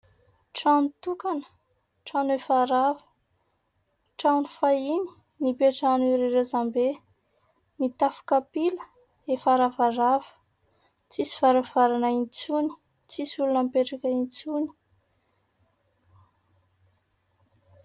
Trano tokana, trano efa rava. Trano fahiny nipetrahan'ireo razambe. Mitafo kapila, efa ravarava, tsisy varavarana intsony, tsisy olona mipetraka intsony.